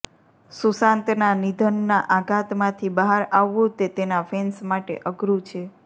સુશાંતના નિધનના આઘાતમાંથી બહાર આવવું તે તેના ફેન્સ માટે અઘરું છે